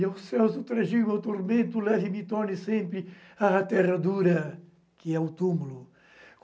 E aos céus do tragigo, ao tormento Leve-me e torne-me sempre À terra dura, que é o túmulo.